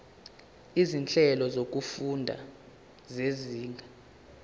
izinhlelo zokufunda zezinga